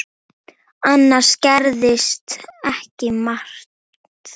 Annars gerðist ekki margt.